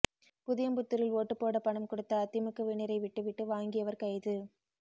புதியம்புத்தூரில் ஓட்டுபோட பணம் கொடுத்த அதிமுகவினரை விட்டு விட்டு வாங்கியவர் கைது